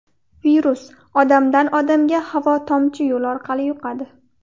Virus odamdan odamga havo-tomchi yo‘li orqali yuqadi.